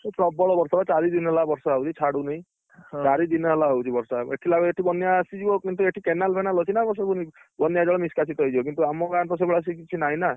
ଏଠି ପ୍ରବଳ ବର୍ଷା ବା ଚାରିଦିନ ହେଲା ବର୍ଷା ହଉଛି ଛାଡ଼ୁନି ଚାରିଦିନ ହେଲା ହଉଛି ବର୍ଷା ଦେଖିଲା ବେଳକୁ ଏଠି ବନ୍ୟା ଆସିଯିବ କିନ୍ତୁ ଏଠି canal ଫେନାଲ ଅଛି ନା ବନ୍ୟା ଜଳ ନିଷ୍କାସିତ ହେଇଯିବ କିନ୍ତୁ ଆମ ଗାଁରେ ତ ସେଇଭଳିଆ କିଛି ନାହିଁ ନା!